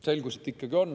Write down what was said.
Selgus, et ikkagi on.